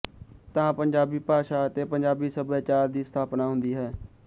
ਤਾਂ ਪੰਜਾਬੀ ਭਾਸ਼ਾ ਅਤੇ ਪੰਜਾਬੀ ਸੱਭਿਆਚਾਰ ਦੀ ਸਥਾਪਨਾ ਹੁੰਦੀ ਹੈ